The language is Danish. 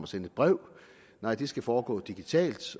sender et brev nej det skal foregå digitalt